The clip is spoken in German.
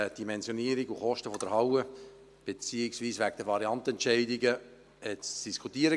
Wegen Dimensionierung und Kosten der Halle, beziehungsweise wegen der Variantenentscheidungen, führte dieses zu Diskussionen.